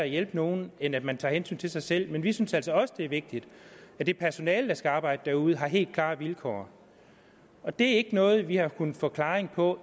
hjælpe nogle end at man tager hensyn til sig selv men vi synes altså også det er vigtigt at det personale der skal arbejde derude har helt klare vilkår og det er ikke noget vi har kunnet få klaring på